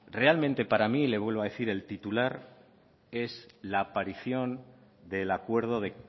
reamente para mí el titular es la aparición del acuerdo de